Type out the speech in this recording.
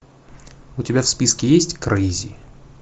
у тебя в списке есть крейзи